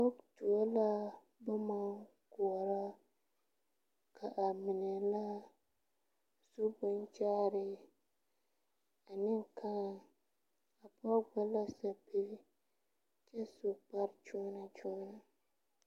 Poge tuo la bomma koɔrɔ ka a mine la zu bonkyaaree a mine kãã a pɔge gba la sɛpige kyɛ su kpare kyõɔnɔkyõɔnɔ.